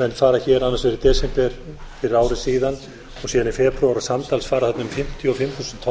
menn fara hér annars vegar í desember fyrir ári síðan og síðan í febrúar samtals fara þarna um fimmtíu og fimm þúsund tonn að því menn